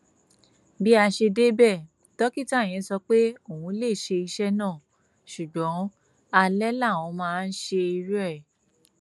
bí a ṣe débẹ dókítà yẹn sọ pé òun lè ṣe iṣẹ náà ṣùgbọn alẹ làwọn máa ń ṣerú ẹ